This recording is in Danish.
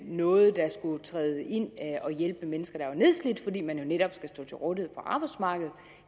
noget der skulle træde ind og hjælpe mennesker der var nedslidte fordi man jo netop skal stå til rådighed for arbejdsmarkedet